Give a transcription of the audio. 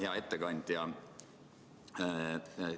Hea ettekandja!